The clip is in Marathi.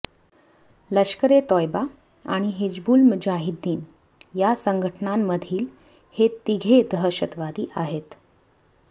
लष्कर ए तोयबा आणि हिजबुल मुजाहिद्दीन या संघटनांमधील हे तिघे दहशतवादी आहेत